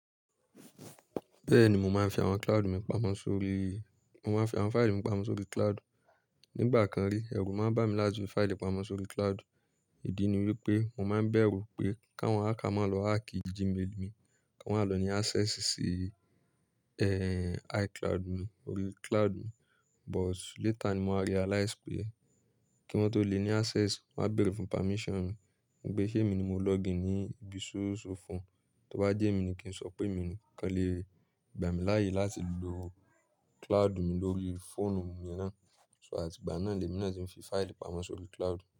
Bẹ́ẹ̀ni mo máa ń fi àwọn cloud mi pamọ́ sórí, mo máa ń fi àwọn file mi pamọ́ sórí cloud. Nígbà kan rí ẹ̀rù máa ń bà mí lájú pé file pamọ́ sórí cloud. Ìdí ni wípé mo máa ń bẹ̀rù pé ká wọ́n á máa lọ hack gmail mi, ká wọ́n á lọ ní access sí eh iCloud mi orí cloud mi. But later ni mo ma realize pé kí wọ́n tó le ní access wọ́n máa bèèrè fún permission mi. Nipe ṣé èmi ni mo login ní ibi ṣóòṣó phone. Tí ó bá jẹ́ èmi ni kí n sọ pé èmi nì kan le gbà mí láàyè láti lo cloud mi lórí fóònù mi yènà. So àtìgbà náà lẹ́mi náà ti ń fi file pamọ́ sórí cloud.